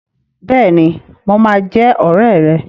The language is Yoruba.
Bẹ́ẹ̀ni, mo máa jẹ́ ọ̀rẹ́ rẹ.